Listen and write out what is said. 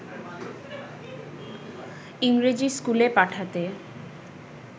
ইংরেজি ইস্কুলে পাঠাতে